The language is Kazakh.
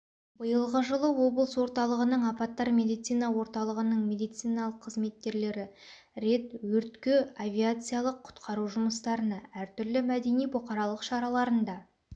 биылғы жылы облыс орталығының апаттар медицина орталығының медициналық қызметкерлері рет өртке авариялық-құтқару жұмыстарына әртүрлі мәдени-бұқаралық шараларында